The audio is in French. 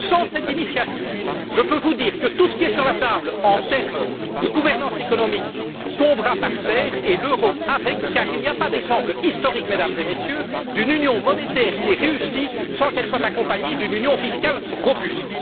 Sans cette initiative, je peux vous dire que tout ce qui est sur la table en termes de gouvernance économique tombera par terre, et l'euro avec, car il n'y a pas d'exemple historique, Mesdames et Messieurs, d'une union monétaire qui ait réussi sans qu'elle soit accompagnée d'une union fiscale robuste.